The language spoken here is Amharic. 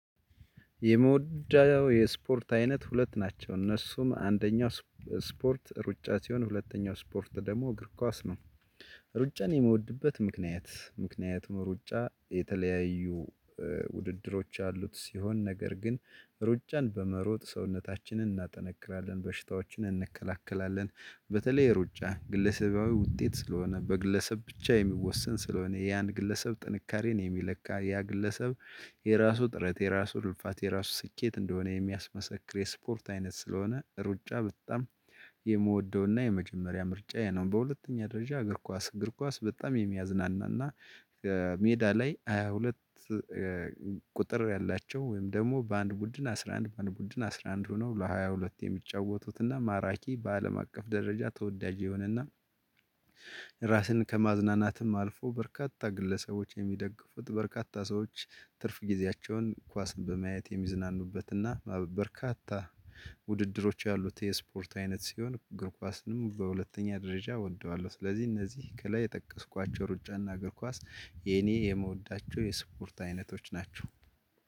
የምውደው የስፖርት አይነት ሁለት ናቸው እነሱም አንደኛው ስፖርት ሩጫ ሲሆን ሁለተኛው ስፖርት ደግሞ እግር ኳስ ነው። ሩጫን የምወድበት ምክንያት ምክንያት ሩጫ የተለያዩ ውድድሮች ያሉት ሲሆን ነገር ግን ሩጫን በመሮጥ ሰውነታችንን እናጠነክራለን በሽታዎችን እንከላከላለን በተለይ ሩጫ ግለሰባዊ ውጤት ስለሆነ በግለሰብ ብቻ የሚወሰን ስለሆነ የአንድ ግለሰብ ጥንካሬን የሚለካ ያ ግለሰብ የራሱ ጥረት የራሱ ልልፋት የራሱ ስኬት እንደሆነ የሚያስመሰክር የስፖርት አይነት ስለሆነ ሩጫ በጣም የምወደውና የመጀመሪያ ምርጫዬ ነው። በሁለተኛ ደረጃ እግር ኳስ እግር ኳስ በጣም የሚያዝናናና ሜዳ ላይ ሃያ ሁለት ቁጥር ያላቸው ወይም ደግሞ በአንድ ቡድን አስራ አንድ በአንድ ቡድን አስራ አንድ ሆነው ለሃያ ሁለት የሚጫወቱትና ማራኪ በአለም አቀፍ ደረጃ ተወዳጅ የሆነና ራስን ከማዝናናትም አልፎ በርካታ ግለሰቦች የሚደግፉት በርካታ ሰዎች ትርፍ ጊዜያቸውን ኳስን በማየት የሚዝናኑበት እና በርካታ ውድድሮች ያሉት የስፖርት አይነት ሲሆን እግር ኳስንም በሁለተኛ ደረጃ እወደዋለሁ። ስለዚህ እነዚህ ከላይ የጠቀስኳቸው ሩጫና እግር ኳስ የኔ የመወዳቸው የስፖርት አይነቶች ናቸው።